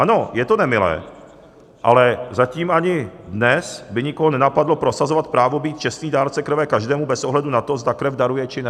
Ano, je to nemilé, ale zatím ani dnes by nikoho nenapadlo prosazovat právo být čestný dárce krve každému bez ohledu na to, zda krev daruje, či ne.